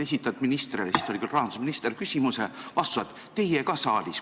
Esitasid ministrile – siis ta oli rahandusminister – küsimuse, vastuseks said: "Teie ka saalis.